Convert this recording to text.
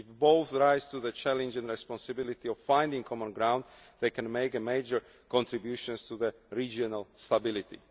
If both rise to the challenges and responsibility of finding common ground, they can make a major contribution to regional stability.